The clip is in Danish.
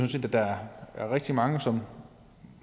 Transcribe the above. at der er rigtig mange som